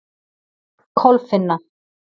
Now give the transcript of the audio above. Kolfinna